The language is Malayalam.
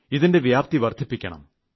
ഇതിന്റെ വ്യാപ്തി വർദ്ധിപ്പിക്കണം